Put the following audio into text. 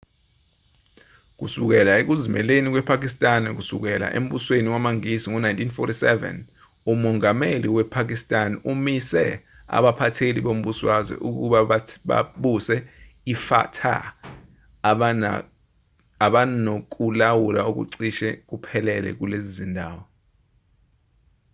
kusukela ekuzimeleni kwepakistan kusuka embusweni wamangisi ngo-1947 umongameli wasepakistan umise abaphatheli bombusazwe ukuba babuse ifata abanokulawula okucishe kuphelele kulezi zindawo